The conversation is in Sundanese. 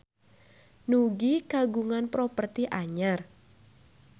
Nugie kagungan properti anyar